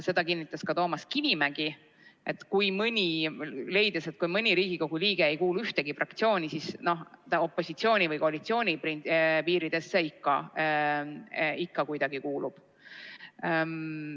Seda kinnitas ka Toomas Kivimägi, leides, et kui mõni Riigikogu liige ei kuulu ühtegi fraktsiooni, siis opositsiooni või koalitsiooni piiridesse ta ikka kuidagi kuulub.